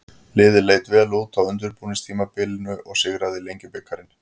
Liðið leit vel út á undirbúningstímabilinu og sigraði Lengjubikarinn.